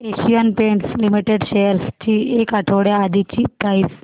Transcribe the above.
Asian Paints Limited shares ची एक आठवड्या आधीची प्राइस